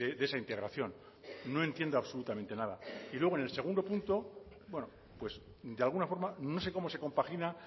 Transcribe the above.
de esa integración no entiendo absolutamente nada y luego en el segundo punto pues de alguna forma no sé cómo se compagina